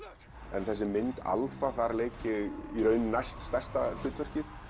þessi mynd þar leik ég næst stærsta hlutverkið